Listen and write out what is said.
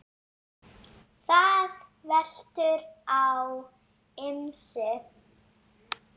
Það veltur á ýmsu.